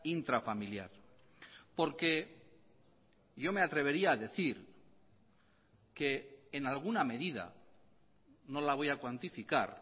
intrafamiliar porque yo me atrevería a decir que en alguna medida no la voy a cuantificar